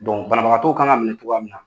banabagatɔw kan ka minɛ cogoya min na